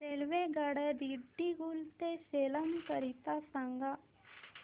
रेल्वेगाड्या दिंडीगुल ते सेलम करीता सांगा